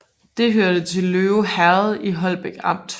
Det hørte til Løve Herred i Holbæk Amt